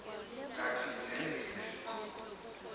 kati ulele etiko